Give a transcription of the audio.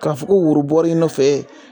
K'a fo ko worobɔɔ bɔra i nɔfɛ